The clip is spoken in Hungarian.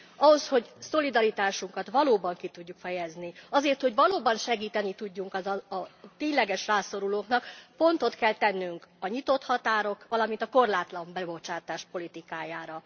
Ahhoz, hogy szolidaritásunkat valóban ki tudjuk fejezni, azért, hogy valóban segíteni tudjunk a tényleges rászorulóknak, pontot kell tennünk a nyitott határok, valamint a korlátlan bebocsátás politikájára.